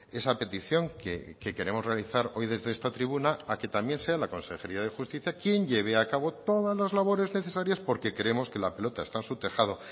esa petición que queremos realizar hoy desde esta tribuna a que también sea la consejería de justicia quien lleve a cabo todas las labores necesarias porque creemos que la pelota está en su tejado